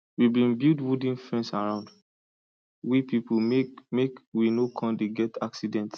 we bin build wooden fence round we people make make we no come dey get accidents